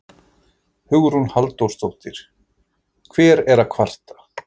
Hugrún Halldórsdóttir: Hver er að kvarta?